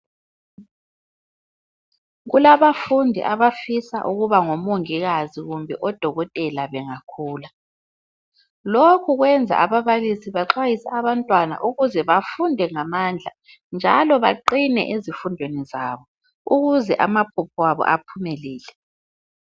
Kulabafundi abafisa ukuba ngomongikazi kumbe odokotela bengakhula. Lokhu kwenza ababalisi baxwayise abantwana ukuze bafunde ngamandla njalo baqine ezifundweni zabo ukuze amaphupho abo aphumelele.